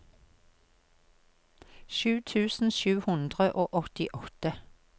sju tusen sju hundre og åttiåtte